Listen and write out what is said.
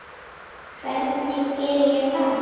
Hvernig geri ég það?